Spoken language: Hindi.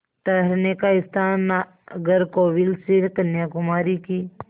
ठहरने का स्थान नागरकोविल से कन्याकुमारी की